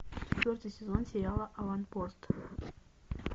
четвертый сезон сериала аванпост